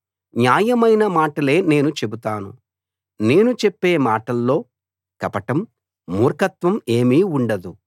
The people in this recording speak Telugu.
న్యాయమైన మాటలే నేను చెబుతాను నేను చెప్పే మాటల్లో కపటం మూర్ఖత్వం ఏమీ ఉండదు